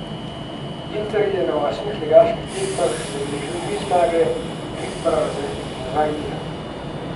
Inter je na osmih ligaški tekmah zabeležil tri zmage, tri poraze in dva remija.